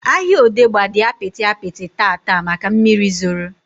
Ahịa Odegba dị apịtị apịtị taata maka mmiri zoro